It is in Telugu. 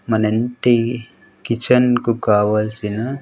మన ఇంటి కిచెన్ కు కావాల్సిన.